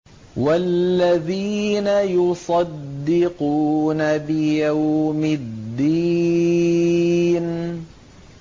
وَالَّذِينَ يُصَدِّقُونَ بِيَوْمِ الدِّينِ